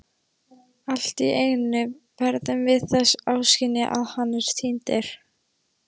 Alltíeinu verðum við þess áskynja að hann er týndur.